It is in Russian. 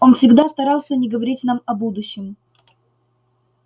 он всегда старался не говорить нам о будущем